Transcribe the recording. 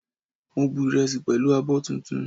Mo bu ìrẹsì pẹ̀lú abọ́ tuntun